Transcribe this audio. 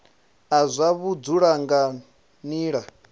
a zwa vhudzulo nga nila